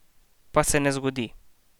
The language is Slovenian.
Pa se ne zgodi.